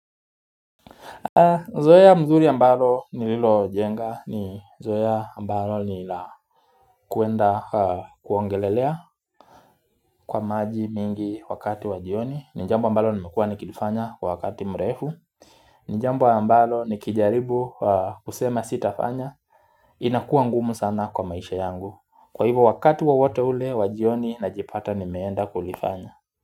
Zoea mzuri ambalo nililojenga ni zoea ambalo nilakuenda kuogelelea kwa maji mingi wakati wa jioni ni jambo ambalo nimekuwa nikilifanya kwa wakati mrefu ni jambo ambalo nikijaribu kusema sitafanya inakuwa ngumu sana kwa maisha yangu Kwa hivyo wakati wowote ule wa jioni najipata nimeenda kulifanya.